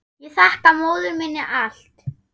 Ég þakka móður minni allt.